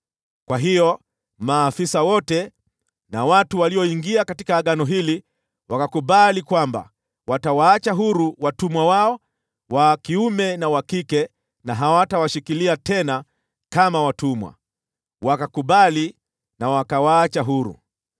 Kwa hiyo maafisa wote na watu walioingia katika agano hili wakakubali kwamba watawaacha huru watumwa wao wa kiume na wa kike, na hawatawashikilia tena kama watumwa. Wakakubali na wakawaacha huru.